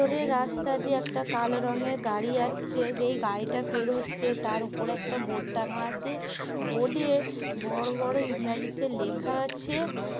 ওপারের রাস্তা দিয়ে একটা কালো রঙের গাড়ি যাচ্ছে। যেই গাড়িটা পের হচ্ছে তার ওপরে একটা বোর্ড টাঙা আছে । বোর্ড -এ বড় বড় ইংরাজিতে লেখা আছে ।